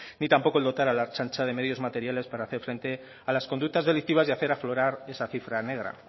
ni tampoco el dotar a la ertzaintza de medios materiales para hacer frente a las conductas delictivas y hacer aflorar esta cifra negra